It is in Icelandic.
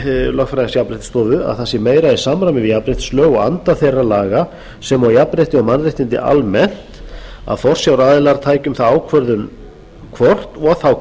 lögfræðings jafnréttisstofu að það sé meira í samræmi við jafnréttislög og anda þeirra laga sem og jafnrétti og mannréttindi almennt að forsjáraðilar taki um það ákvörðun hvort og þá